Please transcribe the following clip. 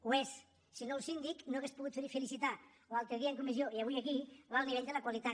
ho és si no el síndic no hauria pogut felicitar l’altre dia en comissió i avui aquí l’alt nivell de la qualitat